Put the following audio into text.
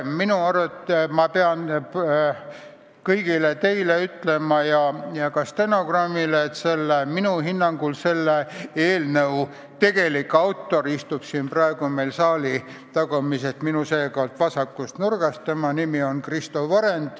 Pean kõigile teile ütlema ja ka stenogrammi huvides teada andma, et minu hinnangul on selle eelnõu tegelik autor Kristo Varend, kes istub praegu saali tagumises vasakus nurgas.